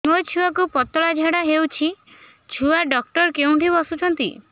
ମୋ ଛୁଆକୁ ପତଳା ଝାଡ଼ା ହେଉଛି ଛୁଆ ଡକ୍ଟର କେଉଁଠି ବସୁଛନ୍ତି